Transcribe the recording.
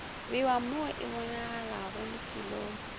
bewa mo e bonagalago lefelong